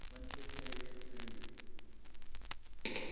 winter period early